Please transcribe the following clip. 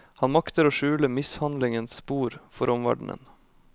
Han makter å skjule mishandlingens spor for omverdenen.